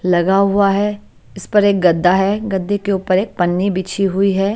लगा हुआ है इस पर एक गद्दा है गद्दे के ऊपर एक पन्नी बिछी हुई है।